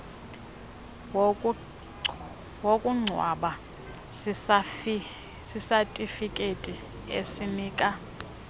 wokungcwaba sisatifiketi esinika